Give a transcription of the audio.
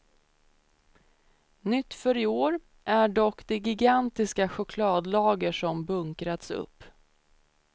Nytt för i år är dock det gigantiska chokladlager som bunkrats upp.